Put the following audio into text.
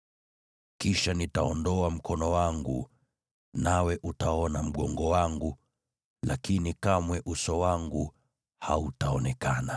Kisha nitaondoa mkono wangu nawe utaona mgongo wangu; lakini kamwe uso wangu hautaonekana.”